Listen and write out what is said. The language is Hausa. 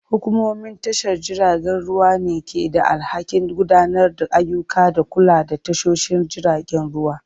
Hukumomin tashar jiragen ruwa ne ke da alhakin gudanar da ayyuka da kula da tashoshin jiragen ruwa.